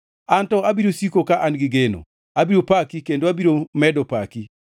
Anto abiro siko ka an gi geno; abiro paki kendo abiro medo paki.